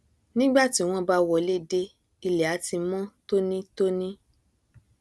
nígbà tí wọn bá wọlé dé ilẹ á ti mọn tónítóní